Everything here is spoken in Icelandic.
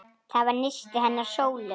Það var nistið hennar Sólu.